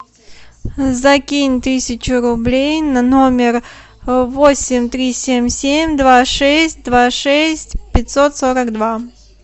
закинь тысячу рублей на номер восемь три семь семь два шесть два шесть пятьсот сорок два